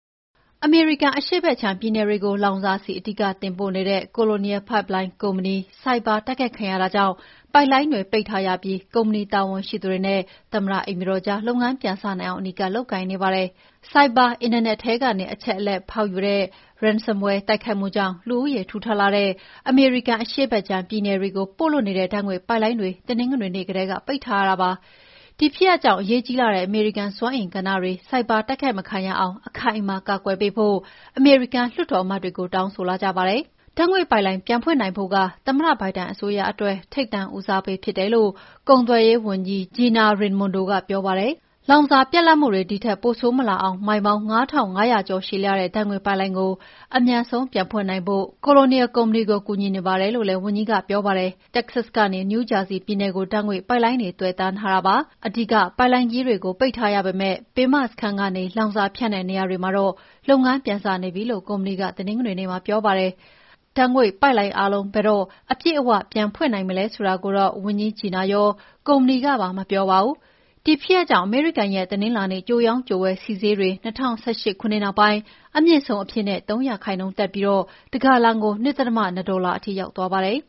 အမေရိကန် အရှေ့ဘက်ခြမ်းပြည်နယ်တွေကို လောင်စာဆီ အဓိတင်ပို့နေတဲ့ Colonial Pipeline ကုမ္ပဏီ ဆိုက်ဘာ တိုက်ခိုက်ခံရတာကြောင့် ပိုက်လိုင်းတွေ ပိတ်ထားရပြီး ကုမ္ပဏီတာဝန်ရှိသူတွေနဲ့ သမ္မတအိမ်ဖြူတော်ကြား လုပ်ငန်းပြန်စနိုင်အောင် အနီးကပ်လုပ်ကိုင်နေပါတယ်။ ဆိုက်ဘာအင်တာနက်ထဲကနေ အချက်အလက်ဖောက်ယူ Ransomwear တိုက်ခိုက်မှုကြောင့် လူဦးရေထူထပ်လှတဲ့ အမေရိကန်အရှေ့ဘက်ခြမ်းပြည်နယ်တွေကို ပို့လွှတ်တဲ့ ဓာတ်ငွေ့ပိုက်လိုင်းတွေ တနင်္ဂနွေနေ့ကတည်းက ပိတ်ထားရတာပါ။ ဒီဖြစ်ရပ်ကြောင့် အရေးကြီးလှတဲ့ အမေရိကန်စွမ်းအင်ကဏ္ဍတွေ ဆိုင်ဘာ တိုက်ခိုက်မခံရအောင်အခိုင်အမာ ကာကွယ်ပေးဖို့ အမေရိကန်လွှတ်တော်အမတ်တွေကို တောင်းဆိုလာကြပါတယ်။ ဓာတ်ငွေ့ပိုက်လိုင်းပြန်ဖွင့်နိုင်ဖို့က သမ္မတဘိုင်ဒန်အစိုးရအတွက် ထိပ်တန်းဦးစားပေးဖြစ်တယ်လို့ ကုန်သွယ်ရေးဝန်ကြီး Gina Raimondo ကပြောပါတယ်။ လောင်စာပြတ်လပ်မှုတွေ ဒီထက်ပိုဆိုးမလာအောင် မိုင်ပေါင်း ၅,၅၀၀ ကျော်ရှည်လျားတဲ့ ဓာတ်ငွေ့ပိုက်လိုင်း အမြန်ဆုံးပြန်ဖွင့်နိုင်ဖို့ Cononial ကုမ္ပဏီကို ကူညီနေပါတယ်လို့လည်း ဝန်ကြီး Raimondo ကပြောပါတယ်။ တက္ကဆတ်ကနေ နယူးဂျာဆီပြည်နယ်ကို ဓာတ်ငွေ့ပိုက်လိုင်းတွေ သွယ်တန်းထားတာဖြစ်ပါတယ်။ အဓိက ပိုက်လိုင်းကြီးတွေကို ပိတ်ထားရပေမယ့် ပင်မစခန်းကနေ လောင်စာဖြန့်တဲ့နေရာတွေမှာတော့ လုပ်ငန်းပြန်စနေပြီလို့ ကုမ္ပဏီက မနေ့တနင်္ဂနွေနေ့မှာပြောပါတယ်။ ဓာတ်ငွေ့ပိုက်လိုင်းအားလုံး ဘယ်တော့ အပြည့်အဝပြန်ဖွင့်နိုင်မလဲဆိုတာကိုတော့ ဝန်ကြီး Raimondo ရော ကုမ္ပဏီကပါ မပြောပါဘူး။ ဒီဖြစ်ရပ်ကြောင့် အမေရိကန်ရဲ့တနင်္လာနေ့ ကြိုရောင်းကြိုဝယ် ဆီဈေးတွေ ၂၀၁၈ ခုနှစ်နောက်ပိုင်း အမြင့်ဆုံးအဖြစ် ၃ ရာခိုင်နှုန်းတက်ပြီး တဂါလံကို ၂.၂ ဒေါ်လာထိရောက်သွားပါတယ်